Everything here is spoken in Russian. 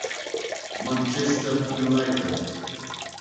манчестер юнайтед